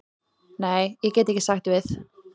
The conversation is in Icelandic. Nei, ég get ekki sagt við.